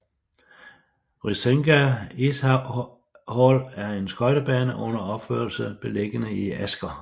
Risenga Ishall er en skøjtebane under opførelse beliggende i Asker